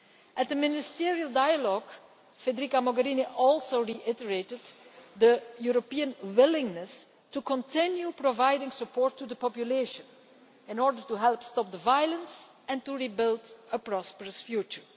At the ministerial dialogue, Federica Mogherini also reiterated the European willingness to continue providing support to the population in order to help stop the violence and rebuild a prosperous future.